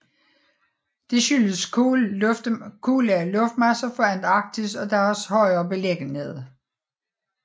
Det skyldes kolde luftmasser fra Antarktis og deres højere beliggenhed